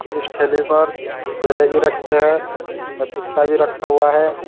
इस ठेले पर केले भीं रखे हैं पपीता भी रखा हुआ है।